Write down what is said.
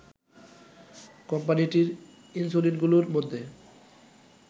কোম্পানিটির ইনসুলিনগুলোর মধ্যে